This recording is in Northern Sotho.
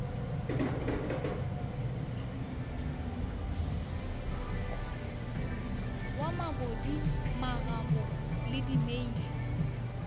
wa mabudi magomo le dimeila